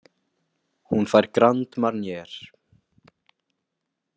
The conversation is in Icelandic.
Hún fær Grand Marnier.